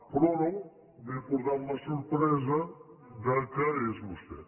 però no m’he portat la sorpresa que és vostè